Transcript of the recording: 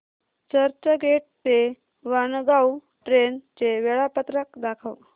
चर्चगेट ते वाणगांव ट्रेन चे वेळापत्रक दाखव